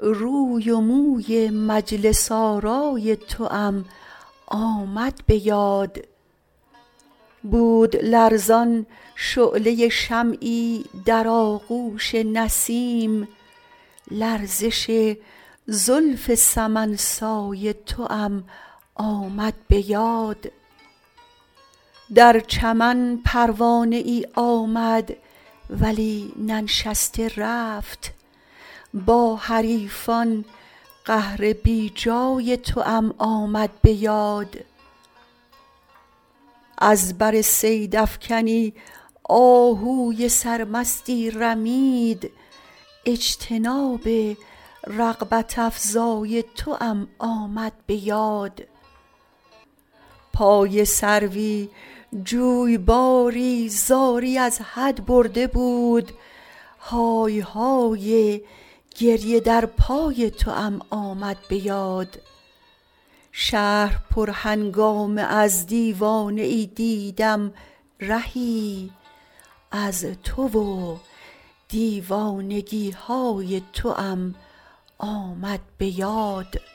روی و موی مجلس آرای توام آمد به یاد بود لرزان شعله شمعی در آغوش نسیم لرزش زلف سمن سای توام آمد به یاد در چمن پروانه ای آمد ولی ننشسته رفت با حریفان قهر بی جای توام آمد به یاد از بر صیدافکنی آهوی سرمستی رمید اجتناب رغبت افزای توام آمد به یاد پای سروی جویباری زاری از حد برده بود های های گریه در پای توام آمد به یاد شهر پرهنگامه از دیوانه ای دیدم رهی از تو و دیوانگی های توام آمد به یاد